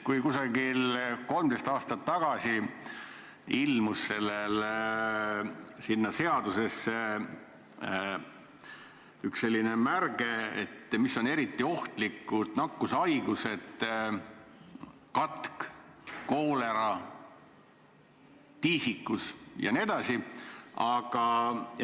Umbes 13 aastat tagasi ilmus seadusesse märge selle kohta, mis on eriti ohtlikud nakkushaigused: katk, koolera, tiisikus jne.